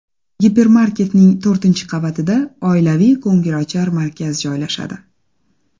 Gipermarketning to‘rtinchi qavatida oilaviy ko‘ngilochar markaz joylashadi.